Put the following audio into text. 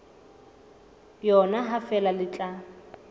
yona ha feela le tla